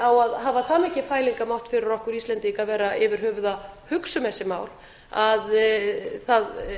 á að hafa það mikinn fælingarmátt fyrir okkur íslendinga að vera yfir höfuð að hugsa um þessi mál að það